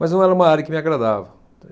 Mas não era uma área que me agradava.